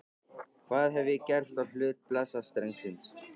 Hvað hef ég gert á hlut blessaðs drengsins?